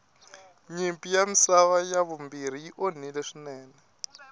nyimpi ya misava ya vumbirhi yi onhile swinene